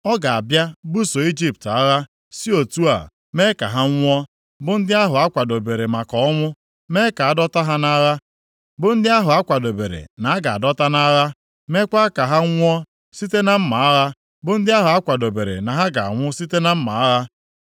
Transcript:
Ọ ga-abịa buso Ijipt agha, si otu a mee ka ha nwụọ, bụ ndị ahụ a kwadobere maka ọnwụ, mee ka a dọta ha nʼagha, bụ ndị ahụ a kwadobere na-aga adọta nʼagha; mekwaa ka ha nwụọ site na mma agha bụ ndị ahụ a kwadobere na ha ga-anwụ site na mma agha.